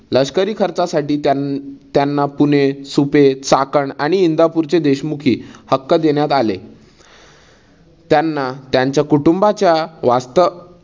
लष्करी खर्चासाठी त्यां त्यांना पुणे, सुपे, चाकण आणि इंदापूरची देशमुखी हक्क देण्यात आले. त्यांना त्यांच कुटुंबाच्या वास्त